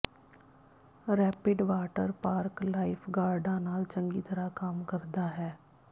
rapid water park ਲਾਈਫਗਾਰਡਾਂ ਨਾਲ ਚੰਗੀ ਤਰ੍ਹਾਂ ਕੰਮ ਕਰਦਾ ਹੈ